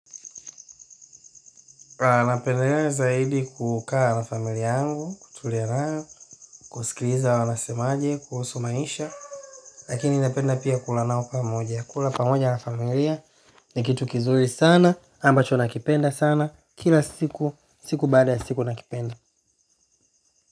Na kuendelea zaidi kukaa na familia yangu kutulia nao kusikiliza wanasema aje kuhusu maisha. Lakini napenda pia kula nao pamoja, kula pamoja na familia. Ni kitu kizuri sana, ambacho nakipenda sana, kila siku, siku baada ya siku nakipenda.